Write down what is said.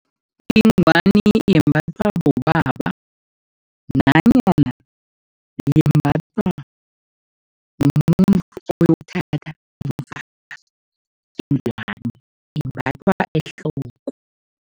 Ingwani yembathwa bobaba nanyana imbathwa mumuntu oyokuthatha imbathwa ehloko.